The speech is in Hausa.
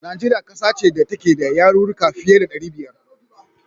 Najeriya ƙasa ce da take da yarurruka fiye da ɗari biyar.